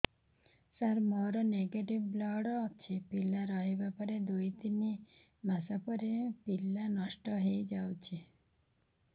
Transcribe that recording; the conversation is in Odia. ସାର ମୋର ନେଗେଟିଭ ବ୍ଲଡ଼ ଅଛି ପିଲା ରହିବାର ଦୁଇ ତିନି ମାସ ପରେ ପିଲା ନଷ୍ଟ ହେଇ ଯାଉଛି